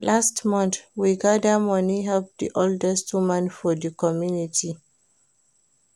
Last month, we gada moni help di oldest woman for di community.